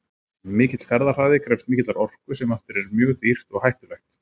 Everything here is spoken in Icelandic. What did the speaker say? Mikill ferðahraði krefst mikillar orku sem aftur er mjög dýrt og hættulegt.